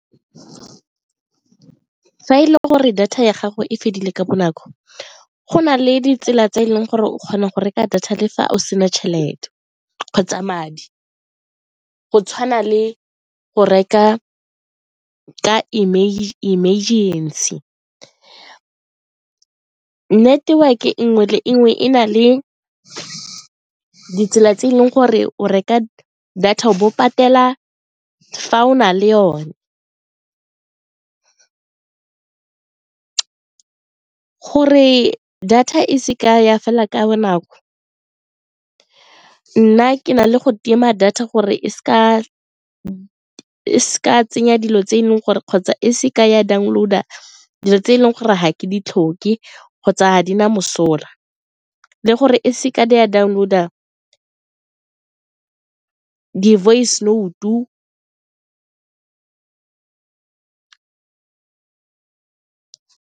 Fa e le gore data ya gago e fedile ka bonako, go na le ditsela tse e leng gore o kgona go reka data le fa o sena tšhelete kgotsa madi go tshwana le go reka ka emergency. Network-e nngwe le nngwe e na le ditsela tse e leng gore o reka data o bo patela fa o na le yone. Gore data e se ka ya fela ka bonako nna ke na le go tima data gore e seka tsenya dilo tse e leng gore kgotsa e se ka ya download-a dilo tse e leng gore ga ke ditlhoke kgotsa a di na mosola le gore e seke di a download-a voice note-o.